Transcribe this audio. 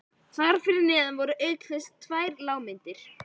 Þar fyrir neðan voru auk þess tvær lágmyndir